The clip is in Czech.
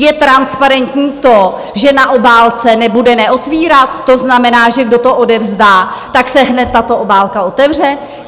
Je transparentní to, že na obálce nebude "neotvírat", to znamená, že kdo to odevzdá, tak se hned tato obálka otevře?